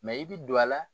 i bi don a la